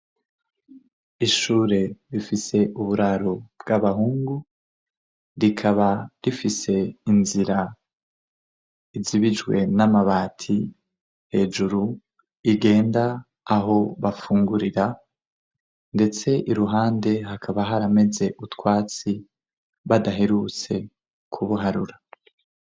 Ishure rifise uburaro bw'abahungu rikaba rifise inzira izibijwe n'amabati hejuru igenda aho bafungurira ndetse iruhande hakaba harameze n'utwatsi badaherutse kubuharura.